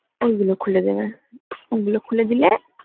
ওই গুলো খুলে দেবে ওই গুলো খুলে দিলে